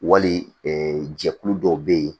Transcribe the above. Wali jɛkulu dɔw bɛ yen